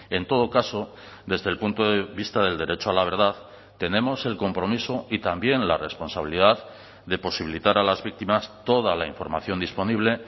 en todo caso desde el punto de vista del derecho a la verdad tenemos el compromiso y también la responsabilidad de posibilitar a las víctimas toda la información disponible